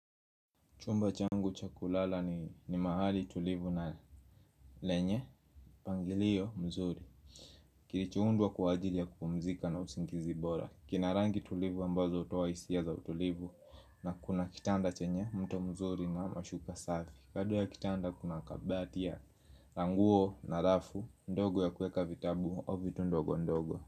Chumba changu cha kulala ni mahali tulivu na lenye mpangilio mzuri, kilichoundwa kwaajili ya kupumzika na usingizi bora. Kina rangi tulivu ambazo hutoa hisia za utulivu. Na kuna kitanda chenye mto mzuri na mashuka safi. Kando ya kitanda kuna kabati ya nguo na rafu ndogo ya kuweka vitabu au vitu ndogondogo.